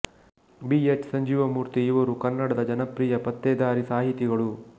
B H Sanjeevamurthy ಇವರು ಕನ್ನಡದ ಜನಪ್ರಿಯ ಪತ್ತೇದಾರಿ ಸಾಹಿತಿಗಳು